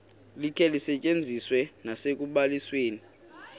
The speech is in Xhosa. likhe lisetyenziswe nasekubalisweni